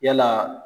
Yala